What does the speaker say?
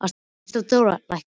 Ísadóra, lækkaðu í græjunum.